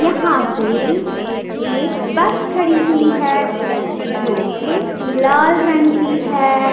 यहाँ पे एक बस खड़ी हुई है जो कि लाल रंग की है।